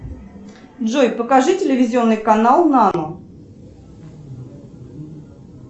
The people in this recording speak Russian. джой покажи телевизионный канал нано